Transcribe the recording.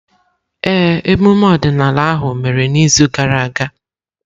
Ee, emume ọdịnala ahụ mere n’izu gara aga.